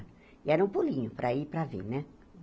E era um pulinho para ir e para vir, né?